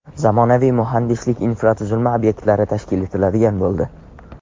Zamonaviy muhandislik infratuzilma obyektlari tashkil etiladigan bo‘ldi.